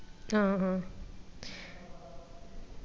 ആഹ് ആഹ്